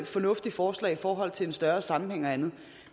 fornuftigt forslag i forhold til en større sammenhæng og andet